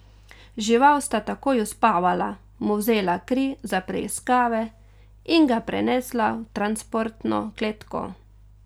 Žival sta takoj uspavala, mu vzela kri za preiskave in ga prenesla v transportno kletko.